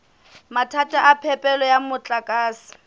mathata a phepelo ya motlakase